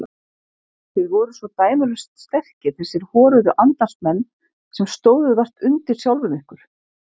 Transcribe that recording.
Þið voruð svo dæmalaust sterkir þessir horuðu andans menn sem stóðuð vart undir sjálfum ykkur.